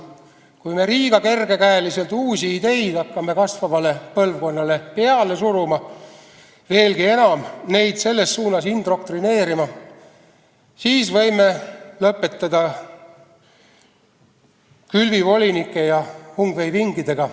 Kui me liiga kergekäeliselt hakkame uusi ideid kasvavale põlvkonnale peale suruma, veelgi enam, neid selles suunas indoktrineerima, siis võime lõpetada külvivolinike ja hungveipingidega.